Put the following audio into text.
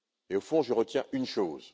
Au fond, je retiens une chose.